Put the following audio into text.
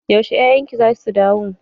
Yaushe 'ya'yan ki za su dawo?